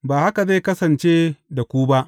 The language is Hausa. Ba haka zai kasance da ku ba.